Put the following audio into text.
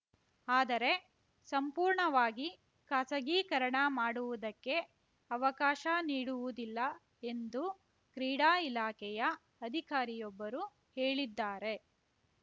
ಆದರೆ ಸಂಪೂರ್ಣವಾಗಿ ಖಾಸಗೀಕರಣ ಮಾಡುವುದಕ್ಕೆ ಅವಕಾಶ ನೀಡುವುದಿಲ್ಲ ಎಂದು ಕ್ರೀಡಾ ಇಲಾಖೆಯ ಅಧಿಕಾರಿಯೊಬ್ಬರು ಹೇಳಿದ್ದಾರೆ